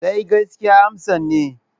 Sai gaskiya amsan ne.